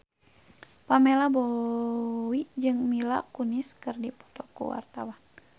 Pamela Bowie jeung Mila Kunis keur dipoto ku wartawan